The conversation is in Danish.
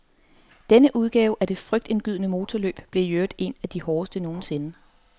Denne udgave af det frygtindgydende motorløb blev i øvrigt en af de hårdeste nogensinde.